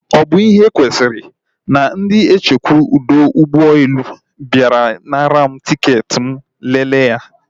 Ọ bụ ihe kwesịrị? Na ndị nchekwa ọdọ ụgbọelu bịara nara m tiketi m ma leele ya